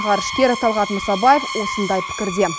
ғарышкер талғат мұсабаев осындай пікірде